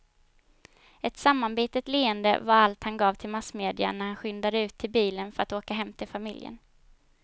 Ett sammanbitet leende var allt han gav till massmedia när han skyndade ut till bilen för att åka hem till familjen.